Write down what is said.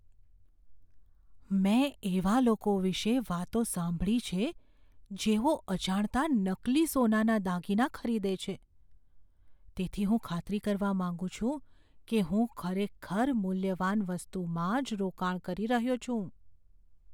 મેં એવા લોકો વિશે વાતો સાંભળી છે જેઓ અજાણતાં નકલી સોનાના દાગીના ખરીદે છે તેથી હું ખાતરી કરવા માંગુ છું કે હું ખરેખર મૂલ્યવાન વસ્તુમાં જ રોકાણ કરી રહ્યો છું.